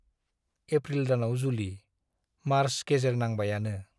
April दानाव जुलि, March गेजेर नांबायानो।